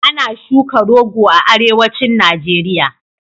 Ana shuka rogo a Arewacin Najeriya.